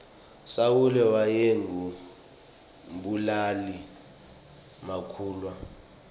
sawule wayengu mbulali makhulwa